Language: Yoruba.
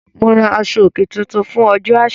Mo ra aṣọ-òkè tuntun fún ọjọ́ àṣà.